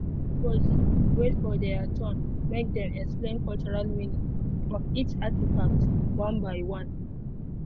everybody wait for their turn make dem explain cultural meaning of each artifact one by one by one.